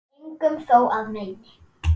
en engum þó að meini